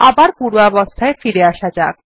আবার পূর্বাবস্থায় ফিরে আসা যাক